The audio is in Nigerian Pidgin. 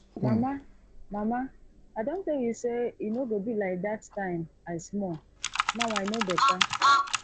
mama mama i don tell you say e no go be like dat time i small now i no beta